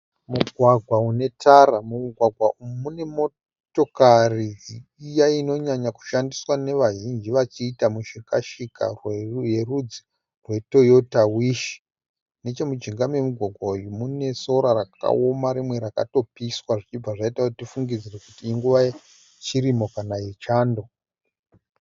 Mugwagwa une tara. Mumugwagwa umu mune motokari iya inonyanyo kushandiswa nevazhinji vachiita mushika-shika yerudzi rwe Toyota Wish. Nechemujinga memugwagwa uyu mune sora rakaoama rimwe rakatopiswa zvichibva zvaita kuti tifungidzire kuti inguva ye chirimo kana yechando.